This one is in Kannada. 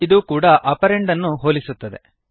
ಇದೂ ಕೂಡ ಆಪರಂಡ್ ಗಳನ್ನು ಹೋಲಿಸುತ್ತದೆ